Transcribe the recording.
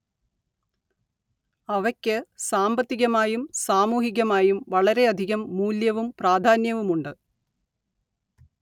അവയ്ക്ക് സാമ്പത്തികമായും സാമൂഹികമായും വളരെയധികം മൂല്യവും പ്രാധാന്യവുമുണ്ട്